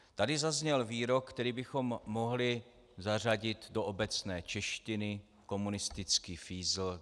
Tady zazněl výrok, který bychom mohli zařadit do obecné češtiny - komunistický fízl.